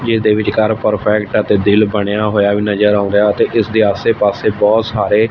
ਜਿਸ ਦੇ ਵਿਚਕਾਰ ਪਰਫੈਕਟ ਅਤੇ ਦਿਲ ਬਣਿਆ ਹੋਇਆ ਵੀ ਨਜ਼ਰ ਆਉਂਦਾ ਤੇ ਇਸ ਦੇ ਆਸੇ ਪਾਸੇ ਬਹੁਤ ਸਾਰੇ--